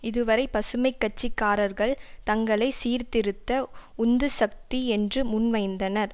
இது வரை பசுமை கட்சி காரர்கள் தங்களை சீர்திருத்த உந்துசக்தி என்று முன் வைந்தனர்